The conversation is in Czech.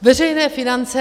Veřejné finance.